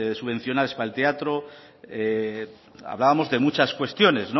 subvenciónales para el teatro hablábamos de muchas cuestiones